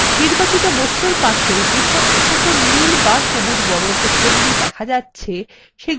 নির্বাচিত বস্তুর পাশে যেসব ছোট নীল বা সবুজ বর্গক্ষেত্রগুলি দেখা যাচ্ছে সেগুলিই হল হাতল